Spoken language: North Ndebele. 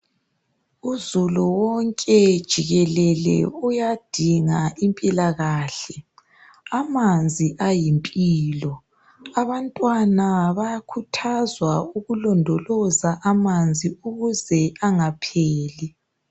Uzulu wonke jikelele uyadinga impila kahle amanzi ayimpilo abantwana bayakhuthazwa ukulondoloza amanzi ukuze angapheli.